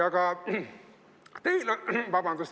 Vabandust!